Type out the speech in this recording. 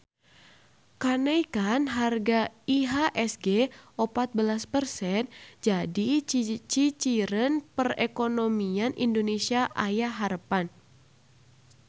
Kanaekan harga IHSG opat belas persen jadi ciciren perekonomian Indonesia aya harepan